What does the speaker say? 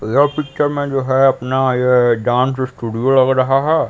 यह पिक्चर में जो है अपना ये डांस स्टूडियो लग रहा है।